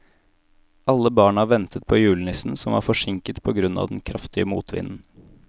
Alle barna ventet på julenissen, som var forsinket på grunn av den kraftige motvinden.